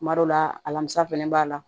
Kuma dɔ la a lamusa fɛnɛ b'a la